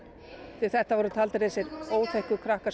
því þetta voru þessir óþekku krakkar sem